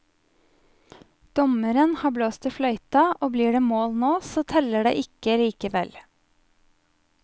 Dommeren har blåst i fløyta, og blir det mål nå så teller det ikke likevel.